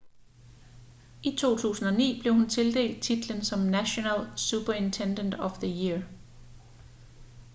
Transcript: i 2009 blev hun tildelt titlen som national superintendent of the year